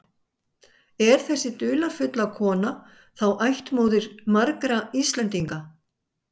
En er þessi dularfulla kona þá ættmóðir margra Íslendinga?